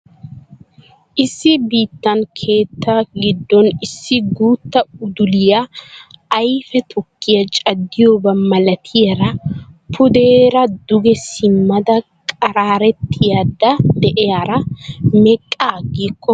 Issi biittan keettaa giddooni issi guutta uduliya ayife tukkiya caddiyooba malatirara pudeera duge simmada qaraarettayidda de'iyaara meqqa aggikko ayibin caddana diyonaa?